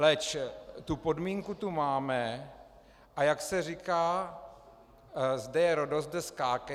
Leč tu podmínku tu máme, a jak se říká - "zde je Rhodos, zde skákej".